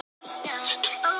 Þögn þín er líf mitt.